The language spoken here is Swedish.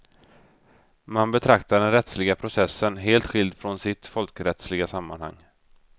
Man betraktar den rättsliga processen helt skild från sitt folkrättsliga sammanhang.